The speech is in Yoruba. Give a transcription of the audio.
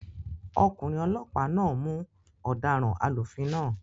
Ọkùnrin olọ́pàá náà mú ọ̀daràn alúfin náà